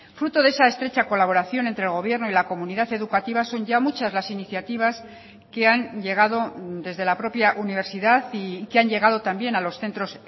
fruto de esa estrecha colaboración entre el gobierno y la comunidad educativa son ya muchas las iniciativas que han llegado desde la propia universidad y que han llegado también a los centros